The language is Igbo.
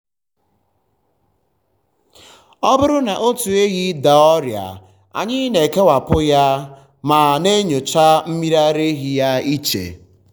ọ bụrụ na otu ehi daa ọrịa anyị na-ekewapụ um ya ma um na-enyocha um mmiri ara ya iche.